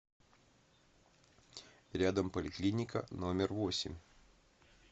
рядом поликлиника номер восемь